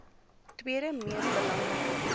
tweede mees belangrike